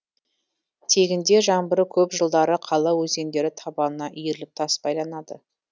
тегінде жаңбыры көп жылдары қала өзендері табанына иіріліп тас байланады